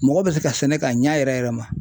Mɔgɔ bɛ se ka sɛnɛ k'a ɲa yɛrɛ yɛrɛ ma.